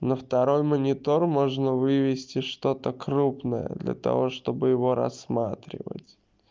на второй монитор можно вывести что-то крупное для того чтобы его рассматривать